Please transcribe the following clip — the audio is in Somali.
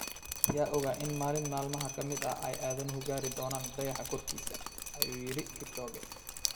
Yaa ogaa in maalin maalmaha ka mid ah ay aadanuhu gaari doonaan dayaxa korkiisa, "ayuu yiri Kipchoge.